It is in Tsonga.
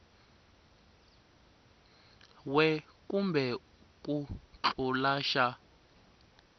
we kumbe ku tlula xa